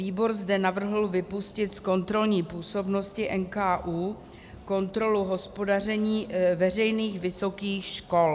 Výbor zde navrhl vypustit z kontrolní působnosti NKÚ kontrolu hospodaření veřejných vysokých škol.